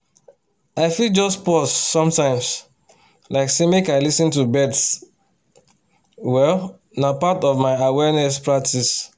i fit just pause sometimes like say make i lis ten to birds well na part of my awareness practice